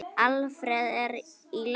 Alfreð, er í lagi?